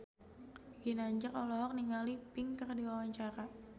Ginanjar olohok ningali Pink keur diwawancara